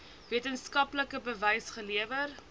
wetenskaplike bewys gelewer